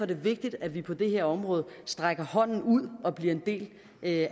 det vigtigt at vi på det her område rækker hånden ud og bliver en del af